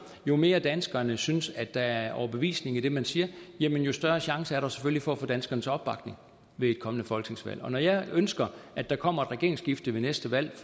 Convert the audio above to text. jo mere danskerne synes at der er overbevisning i det man siger jo større chance er der selvfølgelig for at få danskernes opbakning ved et kommende folketingsvalg når jeg ønsker at der kommer et regeringsskifte ved næste valg